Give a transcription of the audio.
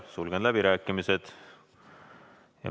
Sulgen läbirääkimised.